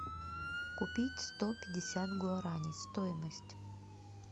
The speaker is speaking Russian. купить сто пятьдесят гуарани стоимость